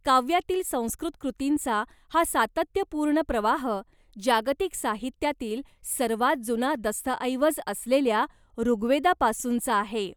काव्यातील संस्कृत कृतींचा हा सातत्यपूर्ण प्रवाह, जागतिक साहित्यातील सर्वांत जुना दस्तऐवज असलेल्या ऋग्वेदापासूनचा आहे.